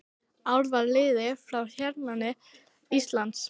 Ár var liðið frá hernámi Íslands.